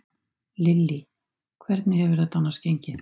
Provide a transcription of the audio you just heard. Lillý: Hvernig hefur þetta annars gengið?